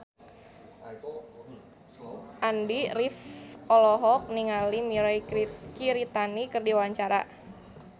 Andy rif olohok ningali Mirei Kiritani keur diwawancara